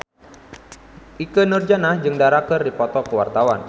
Ikke Nurjanah jeung Dara keur dipoto ku wartawan